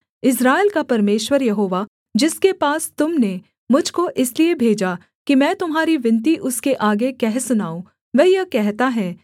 इस्राएल का परमेश्वर यहोवा जिसके पास तुम ने मुझ को इसलिए भेजा कि मैं तुम्हारी विनती उसके आगे कह सुनाऊँ वह यह कहता है